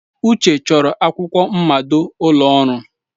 Uche chọrọ akwụkwọ mmado ụlọ ọrụ.